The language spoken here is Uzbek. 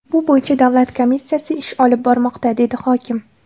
Bu bo‘yicha davlat komissiyasi ish olib bormoqda”, dedi hokim.